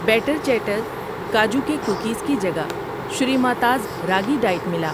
Better چیٹر کاجو کے کوکیز کی جگہ شریماتاز راگی ڈائٹ ملا۔